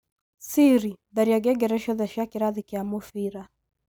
siri tharia ngengere ciothe cia cia kĩrathi kĩa mũbira